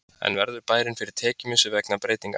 En verður bærinn fyrir tekjumissi vegna breytinganna?